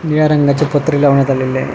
निळ्या रंगाचे पत्रे लावण्यात आलेले आहे.